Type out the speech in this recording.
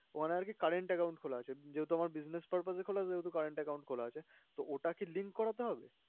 ওখানে আরকি current account খোলা আছে যেহেতু আমার business purpose এ খোলা সেহেতু current account খোলা আছে, তো ওটা কি link করাতে হবে?